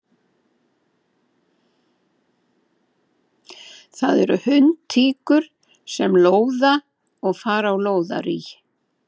Það eru hundtíkur sem lóða og fara á lóðarí.